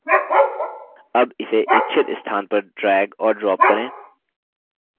अब इसे इच्छित स्थान पर drag और drop करें